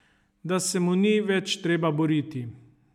Da se mu ni več treba boriti.